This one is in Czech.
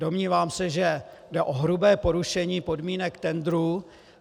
Domnívám se, že jde o hrubé porušení podmínek tendru.